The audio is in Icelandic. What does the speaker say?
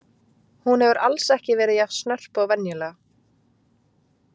Hún hefur alls ekki verið jafn snörp og venjulega.